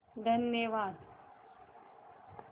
धन्यवाद